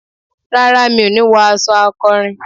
Rárá, mi òní wọ aṣọ akọrin